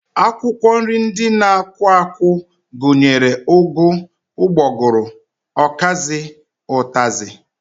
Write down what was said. Akwụkwọ nri ndị na-akwụ akwụ gụnyere ụgụ, ụgbọgụrụ, ọkazị, ụtazị